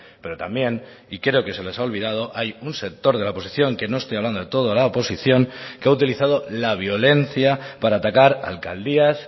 pero también y creo que se les ha olvidado hay un sector de la oposición que no estoy hablando de toda la oposición que ha utilizado la violencia para atacar alcaldías